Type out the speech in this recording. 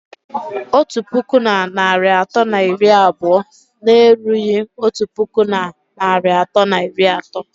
Otu puku na narị atọ na iri abụọ na-erughị otu puku na narị atọ na iri atọ